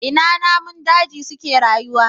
Ina namun daji suke rayuwa?